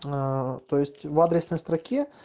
аа то есть в адресной строке